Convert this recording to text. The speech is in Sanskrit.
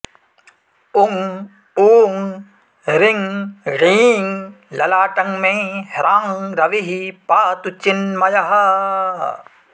उं ऊं ऋं ॠं ललाटं मे ह्रां रविः पातु चिन्मयः